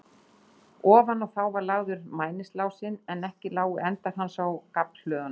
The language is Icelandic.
Ofan á þá var lagður mæniásinn, en ekki lágu endar hans á gaflhlöðunum.